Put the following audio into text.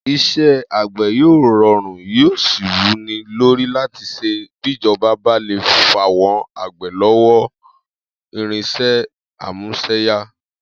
Is̩é̩ àgbè̩ yóò ro̩rùn yóò sì wú ni lórí láti s̩e bíjo̩ba bá le fáwo̩n àgbè̩ láwọ̀n irins̩é̩ amús̩e̩yá